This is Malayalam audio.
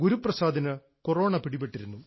ഗുരുപ്രസാദിന് കൊറോണ പിടിപെട്ടിരുന്നു